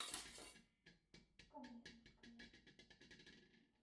каменская